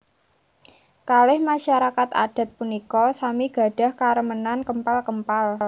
Kalih masarakat adat punika sami gadhah karemenan kempal kempal